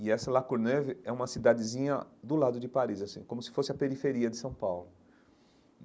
E essa Lacourneuve é uma cidadezinha do lado de Paris, assim, como se fosse a periferia de São Paulo.